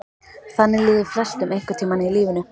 Þannig líður flestum einhvern tíma í lífinu.